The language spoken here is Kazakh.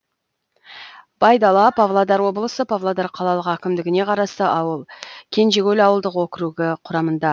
байдала павлодар облысы павлодар қалалық әкімдігіне қарасты ауыл кенжекөл ауылдық округі құрамында